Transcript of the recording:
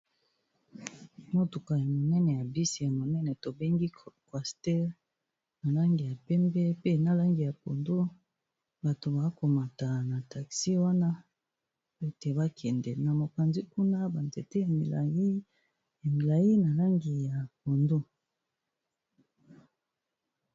Motuka ya minene ya bus ya monene tobengi cwaster, na langi ya pembe pe na langi ya pondu. Bato bao komata na taxi wana ete ba kende, na mopanzi kuna ba nzete milayi na langi ya pondu.